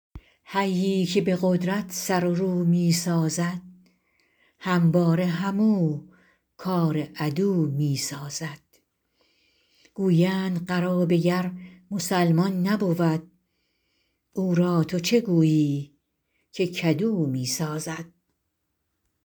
حیی که به قدرت سر و رو می سازد همواره همو کار عدو می سازد گویند قرابه گر مسلمان نبود او را تو چه گویی که کدو می سازد